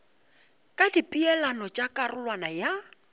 ka dipeelano tša karolwana ya